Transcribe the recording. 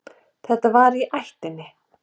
Það var í ættinni.